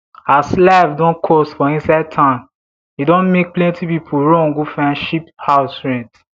as life don cost for inside town e don make plenti pipo run go find cheap house rent